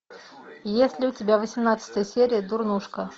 есть ли у тебя восемнадцатая серия дурнушка